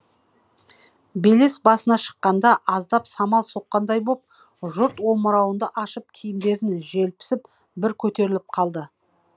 белес басына шыққанда аздап самал соққандай боп жұрт омыраунды ашып киімдерін желпісіп бір көтеріліп қалды